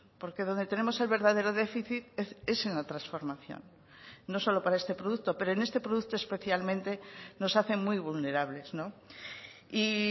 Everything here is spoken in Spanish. porque donde tenemos el verdadero déficit es en la transformación no solo para este producto pero en este producto especialmente nos hacen muy vulnerables y